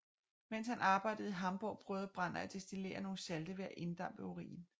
Mens han arbejdede i Hamborg prøvede Brand at destillere nogle salte ved at inddampe urin